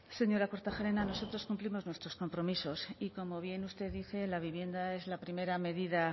señora kortajarena nosotros cumplimos nuestros compromisos y como bien usted dice la vivienda es la primera medida